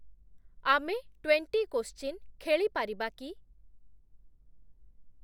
ଆମେ twenty question ଖେଳିପାରିବା କି?